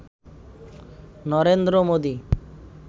Narendra Modi